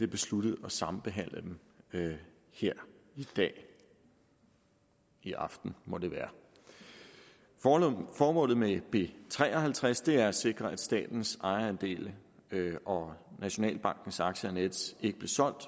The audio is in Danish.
besluttet at sambehandle dem her i dag i aften må det være formålet med b tre og halvtreds er at sikre at statens ejerandel og nationalbankens aktier i nets ikke blev solgt